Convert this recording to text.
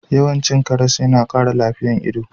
Yawan cin karas yana kara lafiyan ido.